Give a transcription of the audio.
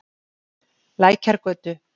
Lækjargötu